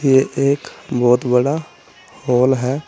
ये एक बहुत बड़ा हॉल है।